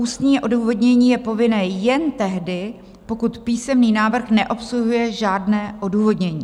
Ústní odůvodnění je povinné jen tehdy, pokud písemný návrh neobsahuje žádné odůvodnění.